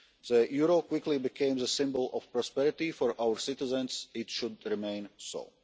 The euro quickly became the symbol of prosperity for our citizens and it should remain so.